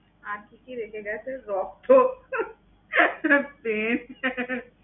আজকে কি হয়েছে ?